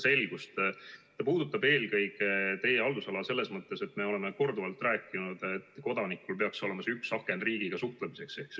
See teema puudutab teie haldusala eelkõige selles mõttes, et nagu me oleme korduvalt rääkinud, kodanikul peaks olema nn üks aken riigiga suhtlemiseks.